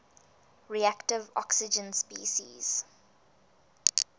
reactive oxygen species